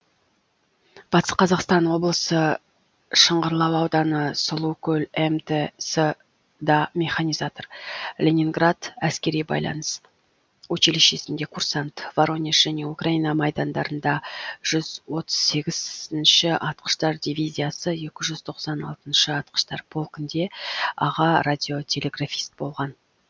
батыс қазақстан облысы шыңғырлау ауданы сұлукөл мтс да механизатор ленинград әскери байланыс училищесінде курсант воронеж және украина майдандарында жүз отыз сегізінші атқыштар дивизиясы екі жүз тоқсан алтыншы атқыштар полкінде аға радиотелеграфист болған